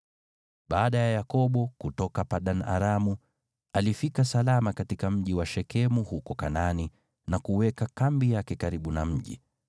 Baada ya Yakobo kutoka Padan-Aramu, alifika salama katika mji wa Shekemu huko Kanaani na kuweka kambi yake karibu na mji.